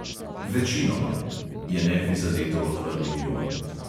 "Večinoma," je neprizadeto odvrnil jon.